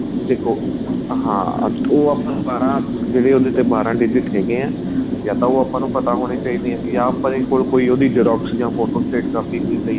ਦੇਖੋ ਹਾਂ ਉਹ ਆਪਾਂ ਦੁਬਾਰਾ ਜਿਹੜੇ ਉਹਦੇ ਤੇ ਬਾਰਾਂ digit ਹੈਗੇ ਏ ਜਾਂ ਉਹ ਆਪਾਂ ਨੂੰ ਪਤਾ ਹੋਣੇ ਚਾਹੀਦੇ ਏ ਜਾਂ ਆਪਣੇਂ ਕੋਲ ਕੋਈ ਉਹਦੀ ਜਾਂ ਫ਼ੋਟੋਸਟੇਟ ਕਾਪੀ ਕੋਈ ਪਈ